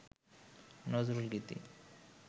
নজরুলগীতি